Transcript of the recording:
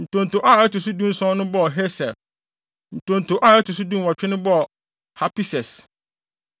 Ntonto a ɛto so dunson no bɔɔ Hesir. Ntonto a ɛto so dunwɔtwe no bɔɔ Hapises.